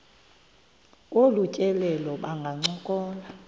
kolu tyelelo bangancokola